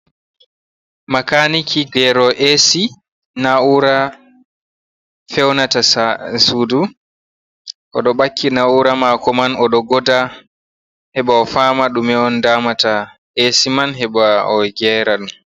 Makaaniki geerowo Eesi, naa'ura fewnata suudu o ɗo ɓakki naa'ura maako man o ɗo goda heɓa o faama ɗume on daamata Eesi man heɓa o geera dum.